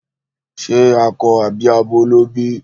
Ṣe akọ àbí abo ló bí?